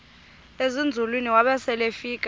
ezinzulwini waba selefika